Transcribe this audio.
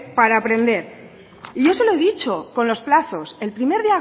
para aprender y yo se lo he dicho con los plazos el primer